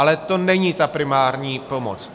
Ale to není ta primární pomoc.